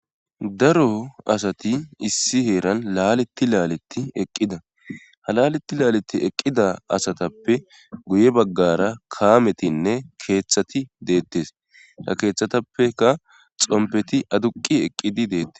Daro asati issi heeran laaletti laaletti eqqida halaletti laaleti eqqida asatappe guye baggara kaametinne keeththati deettes a keeththatappeka xompeti aduqi eqqidi deettes